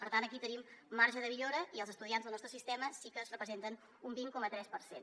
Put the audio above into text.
per tant aquí tenim marge de millora i els estudiants del nostre sistema sí que representen un vint coma tres per cent